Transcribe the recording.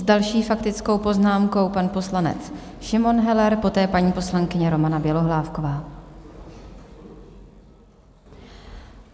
S další faktickou poznámkou pan poslanec Šimon Heller, poté paní poslankyně Romana Bělohlávková.